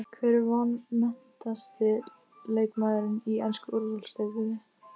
Hver er vanmetnasti leikmaðurinn í ensku úrvalsdeildinni?